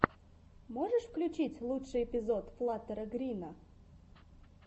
можешь включить лучший эпизод флаттера грина